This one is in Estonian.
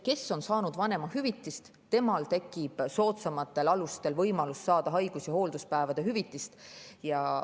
Sellel, kes on saanud vanemahüvitist, tekib võimalus saada soodsamatel alustel haigus- ja hoolduspäevade hüvitist.